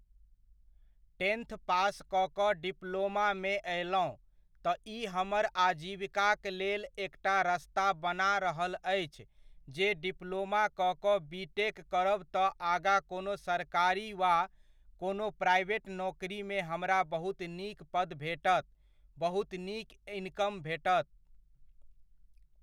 Tenth pass कऽ कऽ डिप्लोमामे अयलहुँ, तऽ ई हमर आजीविकाक लेल एकटा रस्ता बना रहल अछि जे डिप्लोमा कऽ कऽ बी.टेक करब तऽ आगाँ कोनो सरकारी वा कोनो प्राइवेट नोकरीमे हमरा बहुत नीक पद भेटत, बहुत नीक इनकम भेटत।